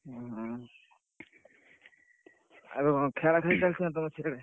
ଉଁ, ଆଉ କଣ ଖେଳା ଖେଳି ଚାଲିଥିଲା ତମ ସାଡେ?